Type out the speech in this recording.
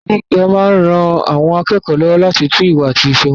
Ilé ìwé gíga máa ran àwọn akẹ́kọ̀ọ́ lọ́wọ́ láti tún ìwà àti ìṣe wọn ṣe.